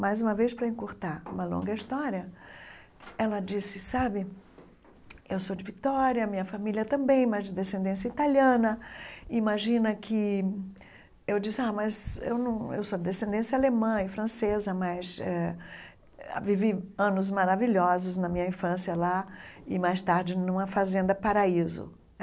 Mais uma vez, para encurtar uma longa história, ela disse, sabe, eu sou ]de Vitória, minha família também, mas de descendência italiana, imagina que... Eu disse, ah, mas eu não eu sou de descendência alemã e francesa, mas eh vivi anos maravilhosos na minha infância lá e mais tarde numa fazenda paraíso.